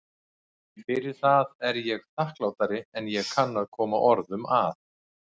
Fyrir það er ég þakklátari en ég kann að koma orðum að.